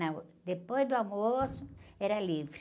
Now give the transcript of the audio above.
Não, depois do almoço era livre.